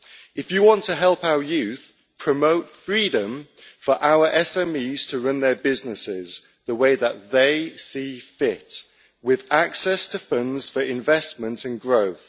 If you want to help our youth, promote freedom for our SMEs to run their businesses the way that they see fit with access to funds for investment and growth.